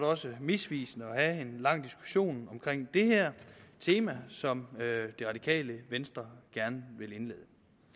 også misvisende at have en lang diskussion om det her tema som det radikale venstre gerne vil indlede